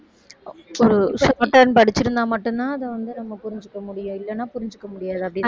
shorthand படிச்சிருந்தா மட்டும்தான் அது வந்து நம்ம புரிஞ்சுக்க முடியும் இல்லன்னா புரிஞ்சுக்க முடியாது அப்படி~